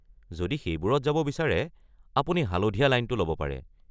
যদি সেইবোৰত যাব বিচাৰে, আপুনি হালধীয়া লাইনটো ল’ব পাৰে।